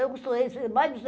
Eu costurei